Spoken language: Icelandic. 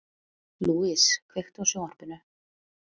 Louise, kveiktu á sjónvarpinu.